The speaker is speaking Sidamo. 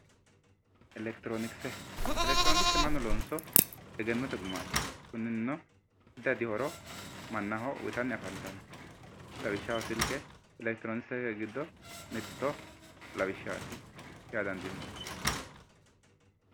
elekitironikise elekitironikise mannu loonso egennote gumaati kunino addi addi horo mannaho uyiitanni afantanno lawishshaho silke elekitironikisete giddo mitto lawishshaati yaa dandiinanni.